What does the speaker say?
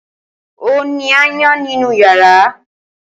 Ó ni áyán nínú yàrá.